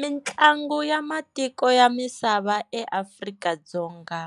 Mintlangu ya matiko ya misava eAfrika-Dzonga,